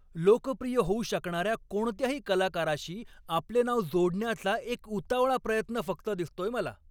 लोकप्रिय होऊ शकणाऱ्या कोणत्याही कलाकाराशी आपले नाव जोडण्याचा एक उतावळा प्रयत्न फक्त दिसतोय मला.